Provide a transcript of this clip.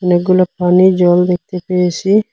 অনেকগুলো পানি জল দেখতে পেয়েসি ।